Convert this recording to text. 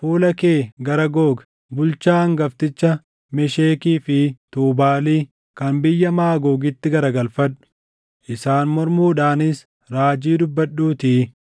fuula kee gara Googi, bulchaa hangafticha Meshekii fi Tuubaalii kan biyya Maagoogitti garagalfadhu; isaan mormuudhaanis raajii dubbadhuutii